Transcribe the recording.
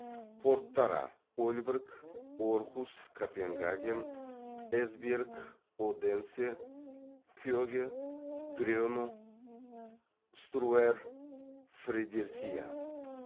порттары ольборг орхус копенгаген эсбьерг оденсе кеге грено струэр фредерисия